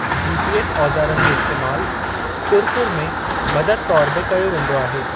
GPS. औज़ारनि जो इस्तैमालु चुर पुर में मददु तौरु बि कयो वेंदो आहे।